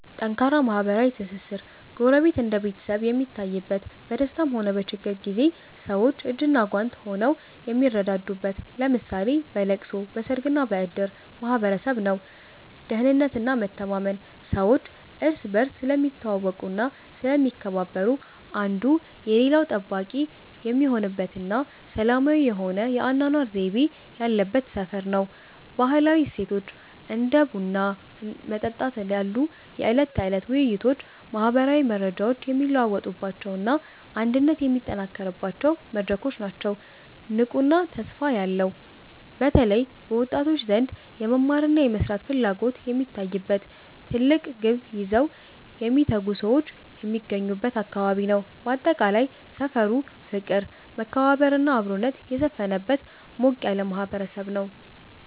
ጠንካራ ማህበራዊ ትስስር፦ ጎረቤት እንደ ቤተሰብ የሚታይበት፣ በደስታም ሆነ በችግር ጊዜ ሰዎች እጅና ጓንት ሆነው የሚረዳዱበት (ለምሳሌ በለቅሶ፣ በሰርግና በእድር) ማህበረሰብ ነው። ደህንነትና መተማመን፦ ሰዎች እርስ በርስ ስለሚተዋወቁና ስለሚከባበሩ፣ አንዱ የሌላው ጠባቂ የሚሆንበትና ሰላማዊ የሆነ የአኗኗር ዘይቤ ያለበት ሰፈር ነው። ባህላዊ እሴቶች፦ እንደ ቡና መጠጣት ያሉ የዕለት ተዕለት ውይይቶች ማህበራዊ መረጃዎች የሚለዋወጡባቸውና አንድነት የሚጠናከርባቸው መድረኮች ናቸው። ንቁና ተስፋ ያለው፦ በተለይ በወጣቶች ዘንድ የመማርና የመስራት ፍላጎት የሚታይበት፣ ትልቅ ግብ ይዘው የሚተጉ ሰዎች የሚገኙበት አካባቢ ነው። ባጠቃላይ፣ ሰፈሩ ፍቅር፣ መከባበርና አብሮነት የሰፈነበት ሞቅ ያለ ማህበረሰብ ነው።